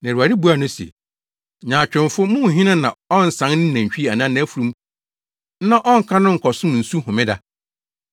Na Awurade buaa no se, “Nyaatwomfo! Mo mu hena na ɔnsan ne nantwi anaa nʼafurum na ɔnka no nkɔnom nsu homeda?